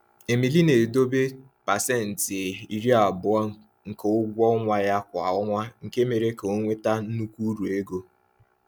Emili na-edobe 20% nke ụgwọ ọnwa ya kwa ọnwa, nke mere ka ọ nweta nnukwu uru ego.